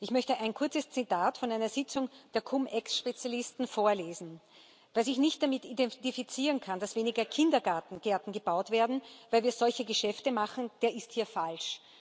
Ich möchte ein kurzes Zitat von einer Sitzung der Cum Ex Spezialisten vorlesen Wer sich nicht damit identifizieren kann, dass weniger Kindergärten gebaut werden, weil wir solche Geschäfte machen, der ist hier falsch.